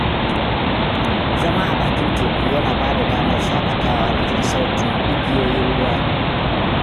Zama a bakin teku yana ba da damar shaƙatawa da jin sautin igiyoyin ruwa.